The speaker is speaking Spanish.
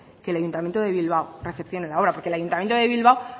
que el ayuntamiento de bilbao recepcione la obra porque el ayuntamiento de bilbao